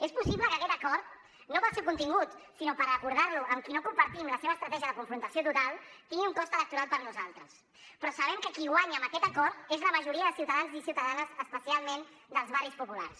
és possible que aquest acord no pel seu contingut sinó per acordar lo amb qui no compartim la seva estratègia de confrontació total tingui un cost electoral per a nosaltres però sabem que qui guanya amb aquest acord és la majoria de ciutadans i ciutadanes especialment dels barris populars